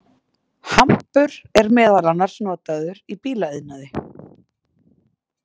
Hampur er meðal annars notaður í bílaiðnaði.